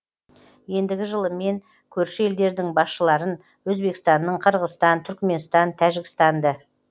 ендігі жылы мен көрші елдердің басшыларын өзбекстанның қырғызстан түркменстан тәжікстанды